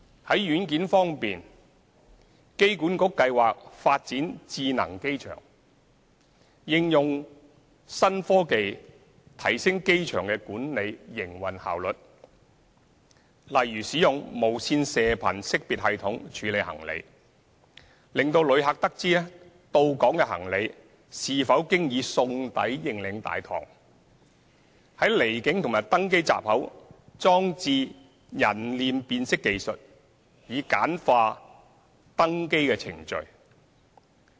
在軟件方面，機管局計劃發展智能機場，應用新科技提升機場營運效率，例如使用無線射頻識別系統處理行李，使旅客得知到港行李是否經已送抵認領大堂、在離境及登機閘口裝置人臉辨識技術以簡化登機程序等。